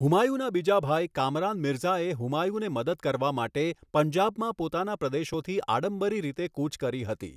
હુમાયુના બીજા ભાઈ, કામરાન મિરઝાએ હુમાયુને મદદ કરવા માટે પંજાબમાં પોતાના પ્રદેશોથી આડંબરી રીતે કૂચ કરી હતી.